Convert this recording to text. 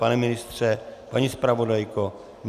Pane ministře, paní zpravodajko?